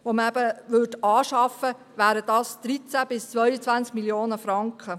Die Anschaffung 43 zusätzlicher Zweirichtungstrams käme auf 13 bis 22 Mio. Franken.